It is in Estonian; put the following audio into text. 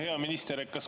Hea minister!